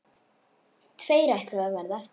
Tveir ætluðu að verða eftir.